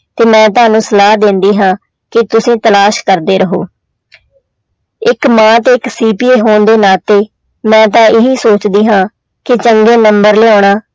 ਤੇ ਮੈਂ ਤੁਹਾਨੂੰ ਸਲਾਹ ਦਿੰਦੀ ਹਾਂ ਕਿ ਤੁਸੀਂ ਤਲਾਸ਼ ਕਰਦੇ ਰਹੋ ਇੱਕ ਮਾਂ ਤੇ ਇੱਕ ਹੋਣ ਦੇ ਨਾਤੇ ਮੈਂ ਤਾਂ ਇਹੀ ਸੋਚਦੀ ਹਾਂ ਕਿ ਚੰਗੇ number ਲਿਆਉਣਾ